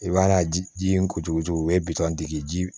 I mana ji in ko cogo cogo o ye bitɔn dege ji